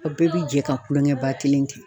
Aw bɛɛ be jɛ ka tulonkɛbakelen kɛ